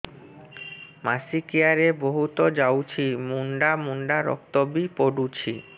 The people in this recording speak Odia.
ମାସିକିଆ ରେ ବହୁତ ଯାଉଛି ମୁଣ୍ଡା ମୁଣ୍ଡା ରକ୍ତ ବି ପଡୁଛି